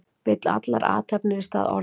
Vill athafnir í stað orða